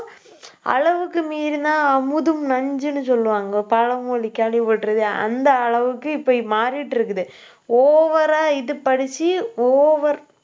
அளவுக்கு மீறினா அமுதும் நஞ்சுன்னு சொல்லுவாங்க. பழமொழி கேள்விப்பட்டிருக்கியா. அந்த அளவுக்கு இப்ப மாறிட்டு இருக்குது. over ஆ இது படிச்சு over